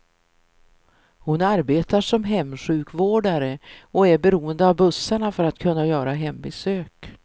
Hon arbetar som hemsjukvårdare och är beroende av bussarna för att kunna göra hembesök.